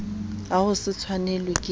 a ho se tshwanelwe ke